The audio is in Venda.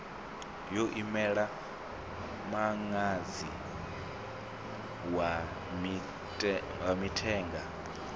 yo imela muṅadzi wa mithenga